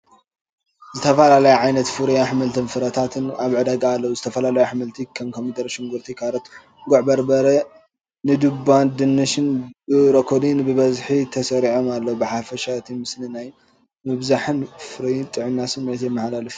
ዝተፈላለየ ዓይነት ፍሩይ ኣሕምልትን ፍረታትን ኣብ ዕዳጋ ኣለው፣ ዝተፈላለዩ ኣሕምልቲ ከም ኮሚደረን ሽጉርቲን ካሮትን ጉዕ በርበረ ንዱባንድንሽንብሮኮሊን ብብዝሒ ተሰሪዖም ኣለዉ። ብሓፈሻ እቲ ምስሊ ናይ ምብዛሕን ፍሩይን ጥዕናን ስምዒት የመሓላልፍልና።